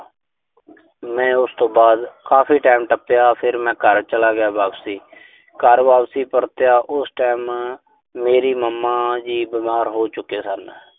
ਮੈਂ ਉਸ ਤੋਂ ਬਾਅਦ ਕਾਫੀ time ਟੱਪਿਆ। ਫਿਰ ਮੈਂ ਘਰ ਚਲਾ ਗਿਆ ਵਾਪਸ। ਘਰ ਵਾਪਸ ਪਰਤਿਆ, ਉਸ time ਮੇਰੀ mama ਜੀ ਬਿਮਾਰ ਹੋ ਚੁੱਕੇ ਸਨ।